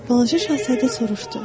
Balaca şahzadə soruşdu.